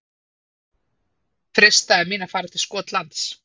Freistaði mín að fara til Skotlands?